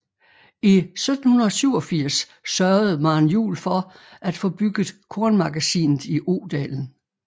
I 1787 sørgede Maren Juel for at få bygget kornmagasinet i Odalen